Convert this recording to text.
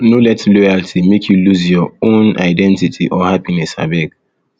no let loyalty make you lose your own lose your own identity or happiness abeg